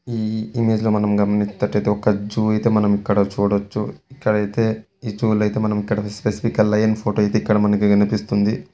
ఈ ఇమేజ్ లో గమనిత టైతే ఒక జూ మనం ఇక్కడ చూడచ్చు ఇక్కడైతే ఈ జూ లై అయితే స్పెసిఫికల్ లయన్ ఫోటో ఇక్కడ అయితే కనిపిస్తూ ఉన్నది.